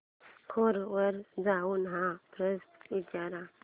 कोरा वर जाऊन हा प्रश्न विचार